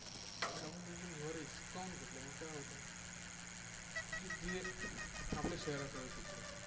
आणि आपण त्यांचा निवारा हिसकावून घेतल्यामुळे काय होत आहे की ते आपल्या शहराकडे कूच करतात.